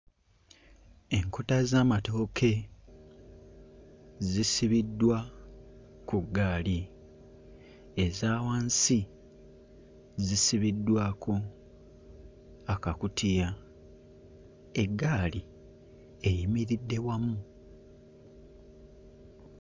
Enkota z'amatooke zisibiddwa ku ggaali, eza wansi zisibiddwako akakutiya, eggaali eyimiridde wamu.